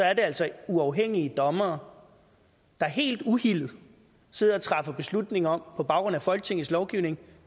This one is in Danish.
er det altså uafhængige dommere der helt uhildet sidder og træffer beslutning om på baggrund af folketingets lovgivning